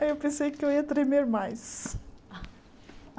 Ai eu pensei que eu ia tremer mais.